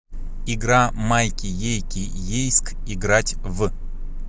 игра майки ейки ейск играть в